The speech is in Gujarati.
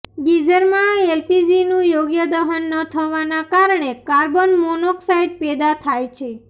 ગીઝરમાં એલપીજીનું યોગ્ય દહન ન થવાના કારણે કાર્બન મોનોક્સાઈડ પેદા થાય છે